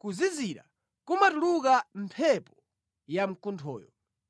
kuzizira kumatuluka mʼmphepo yamkunthoyo.